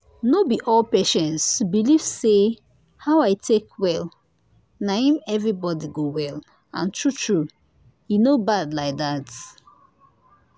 no be all patients believe say how i take well na him everybody go well and true true e no bad like that